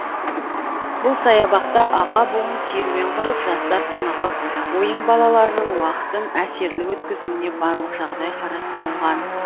бұл саябақта аға буын серуен құрып жастар тынығып ойын балаларының уақытын әсерлі өткізуіне барлық жағдай қарастырылған